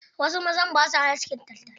Wasu mazan ba sua askin taltal.